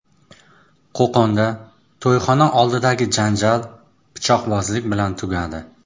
Qo‘qonda to‘yxona oldidagi janjal pichoqbozlik bilan tugadi.